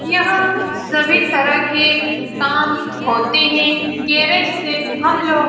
यहाँ सभी तरह के काम होते है। गैरेज से हम लोग --